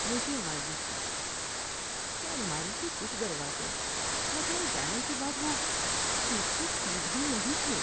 مجھے مایوسی ہوئی کہ الماری کے کچھ دروازے لگائے جانے کے بعد وہ ٹھیک سے سیدھ میں نہیں تھے۔